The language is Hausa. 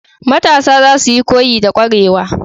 Matasa zasuyi koyi da kwarewa.